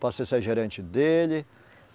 Passei a ser gerente dele.